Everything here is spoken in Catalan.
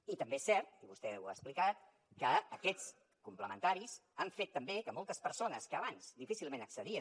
i també és cert i vostè ho ha explicat que aquests complementaris han fet també que moltes persones que abans difícilment accedien